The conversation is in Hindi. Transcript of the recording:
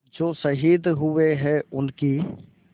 जो शहीद हुए हैं उनकी